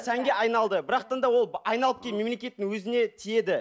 сәнге айналды бірақтан да ол айналып келіп мемлекеттің өзіне тиеді